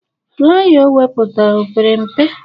Flaya o wepụtara opere mpe?